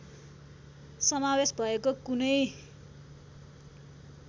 समावेश भएको कुनै